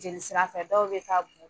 Jeli sira fɛ dɔw bɛ t'a bon